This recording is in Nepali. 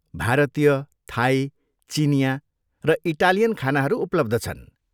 भारतीय, थाई, चिनियाँ, र इटालियन खानाहरू उपलब्ध छन्।